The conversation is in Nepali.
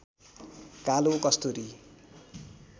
कालो कस्तुरी